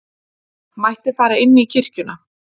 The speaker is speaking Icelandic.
mætti fara inn í kirkjuna.